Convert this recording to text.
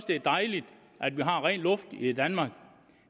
det er dejligt at vi har ren luft i danmark